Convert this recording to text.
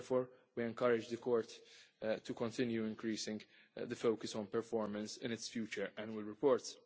We therefore encourage the Court to continue increasing the focus on performance in its future annual reports.